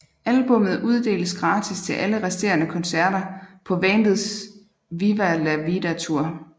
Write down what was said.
Albummet uddeles gratis til alle resterende koncerter på bandets Viva la Vida Tour